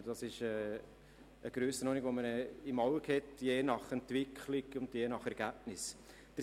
Diese Grössenordnung hat man je nach Entwicklung und je nach Ergebnis im Auge.